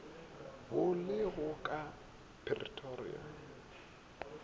bo le go ka pretoria